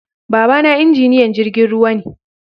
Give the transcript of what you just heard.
Baba na injiniyan jirgin ruwa ne